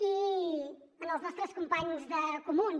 i als nostres companys de comuns